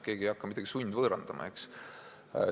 Keegi ei hakka midagi sundvõõrandama.